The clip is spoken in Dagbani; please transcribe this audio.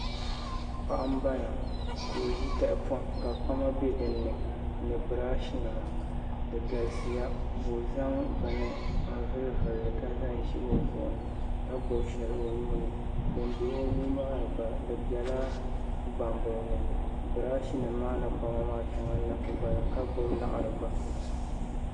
Paɣa n bala ka o ʒi tahapoŋ ka kpama bɛ dinni ni birash nima di galisiya ka o zaŋ bini n vuli vulli ka zaŋ ʒi o zuɣu ni ka gbubi shɛli o nuuni din bɛ o nuu maa ni gba di biɛla gbambili ni birash nim maa ni kpama maa shɛŋa n na ku bala ka gbubi laɣari gba